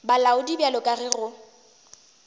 bolaodi bjalo ka ge go